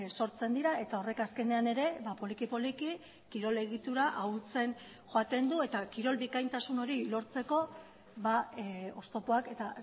sortzen dira eta horrek azkenean ere poliki poliki kirol egitura ahultzen joaten du eta kirol bikaintasun hori lortzeko oztopoak eta